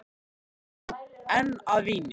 Svo lyktar hún enn af víni.